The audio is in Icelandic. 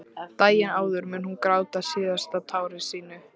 Daginn áður mun hún gráta síðasta tári sínu.